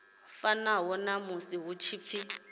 fanaho na musi hu tshi